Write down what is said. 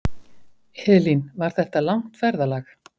Elín: Var þetta langt ferðalag?